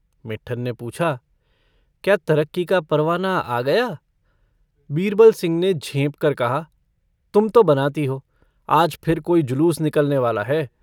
मिट्ठन ने पूछा - क्या तरक्की का परवाना आ गया? बीरबल सिंह ने झेंप कर कहा - तुम तो बनाती हो। आज फिर कोई जुलूस निकलने वाला है।